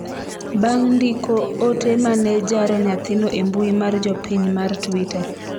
bang' ndiko ote mane jaro nyathino e mbui mar jopiny Mar twitter